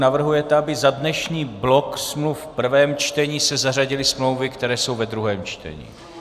Navrhujete, aby za dnešní blok smluv v prvém čtení se zařadily smlouvy, které jsou ve druhém čtení.